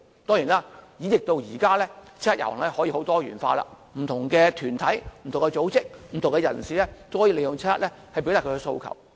當然，演繹至今，七一遊行已變得很多元化，不同團體、組織和人士也可以利用七一遊行來表達訴求。